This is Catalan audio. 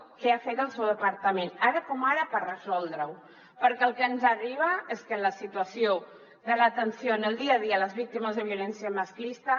què ha fet el seu departament ara com ara per resoldre ho perquè el que ens arriba és que la situació de l’atenció en el dia a dia a les víctimes de violència masclista